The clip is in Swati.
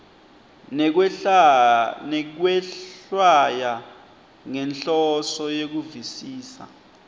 nekwehlwaya ngenhloso yekuvisisa